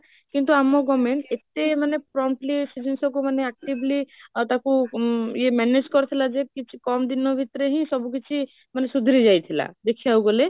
କିନ୍ତୁ ଆମ government ଏତେ promptly ସେ ଜିନିଷ କୁ ମାନେ actively ଆଉ ତାକୁ ୟେ manage କରିଥିଲା ଯେ କିଛି କମ ଦିନ ଭିତରେ ହି ସବୁ କିଛି ମାନେ ସୁଧୁରୀ ଯାଇଥିଲା ଦେଖିବାକୁ ଗଲେ